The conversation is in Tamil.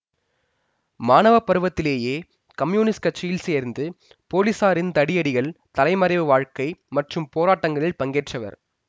மாணவப் பருவத்திலேயே கம்யூனிஸ்ட் கட்சியில் சேர்ந்து போலீசாரின் தடியடிகள் தலைமறைவு வாழ்க்கை மற்றும் போராட்டங்களில் பங்கேற்றவர்